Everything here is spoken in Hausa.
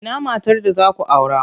Ina matar da za ku aura?